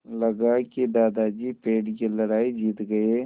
लगा कि दादाजी पेड़ की लड़ाई जीत गए